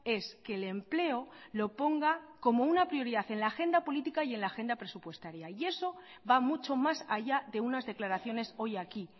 es que el empleo lo ponga como una prioridad en la agenda política y en la agenda presupuestaria y eso va mucho más allá de unas declaraciones hoy aquí